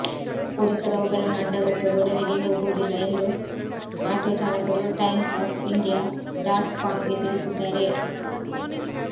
ಪೊಲೀಸರು ಅವುಗಳನ್ನು ಅಡ್ಡಗಟ್ಟುವ ಗೊಡವೆಗೇ ಹೋಗುವುದಿಲ್ಲ ಎಂದು ಆಟೋ ಚಾಲಕರು ಟೈಮ್ಸ್ ಆಫ್ ಇಂಡಿಯಾ ಡಾಟ್ ಕಾಂಗೆ ತಿಳಿಸಿದ್ದಾರೆ